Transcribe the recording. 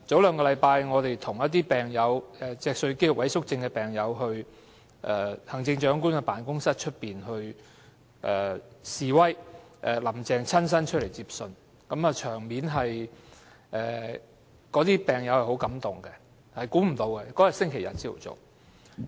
兩星期前，我們與一些脊髓肌肉萎縮症病友到行政長官辦公室外示威，林鄭月娥親身出來接信，場面令病友感動，當天是星期天早上，大家也估不到有這場面。